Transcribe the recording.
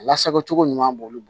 Lasago cogo ɲuman b'olu bolo